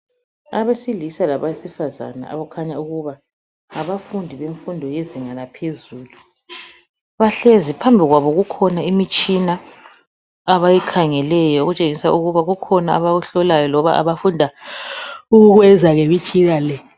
Abesilisa labesifazane abakhanya ukuba ngabafundi bemfundo yezinga laphezulu bahlezi phambili kwabo kukhona imitshina abayikhangeleyo okutshengisa ukuba kukhona abakuhlolayo loba abafunda ukukwenza ngemitshina le.